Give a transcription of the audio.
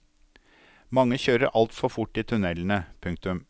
Mange kjører altfor fort i tunnelene. punktum